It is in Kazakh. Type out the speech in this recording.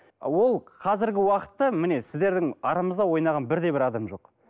ол қазіргі уақытта міне сіздердің арамызда ойнаған бірде бір адам жоқ